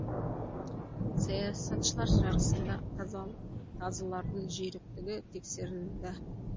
саясатшылар жарысында тазылардың жүйріктігі тексерілді